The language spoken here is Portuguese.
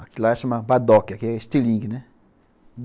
Aquilo lá chamava badoque, aqui é estilingue, né?